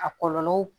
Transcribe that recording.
A kɔlɔlɔ